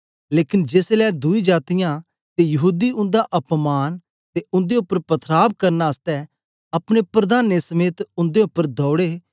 लेकन जेसलै दुई जातीयां ते यहूदी उन्दा अपमान ते उन्दे उपर पथराव करन आसतै अपने प्रधानें दे समेत उन्दे उपर दौड़े